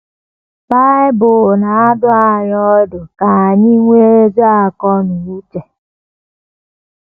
Bible na - adụ anyị ọdụ ka anyị ‘ nwee ezi akọ na uche. ’